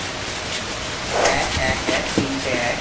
এক, এক, এক, তিনটে এক,